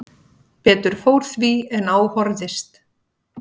Betur fór því en á horfðist